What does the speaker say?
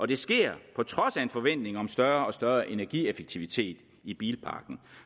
det sker på trods af en forventning om større og større energieffektivitet i bilparken